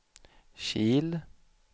Kil